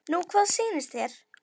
Nú hvað sýnist þér.